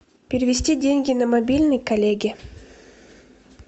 перевести деньги на мобильный коллеге